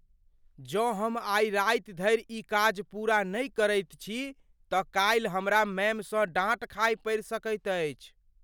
जँ हम आइ राति धरि ई काज पूरा नहि करैत छी तऽ काल्हि हमरा मैमसँ डाँट खाय पड़ि सकैत अछि।